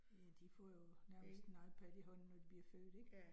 Ja, de får jo nærmest en IPad i hånden, når de bliver født ik